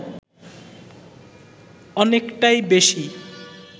অনেকটাই বেশি